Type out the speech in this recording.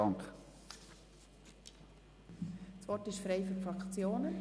Das Wort ist frei für die Fraktionen.